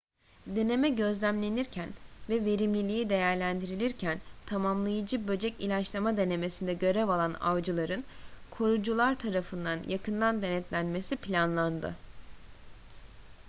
deneme gözlemlenirken ve verimliliği değerlendirilirken tamamlayıcı böcek ilaçlama denemesinde görev alan avcıların korucular tarafından yakından denetlenmesi planlandı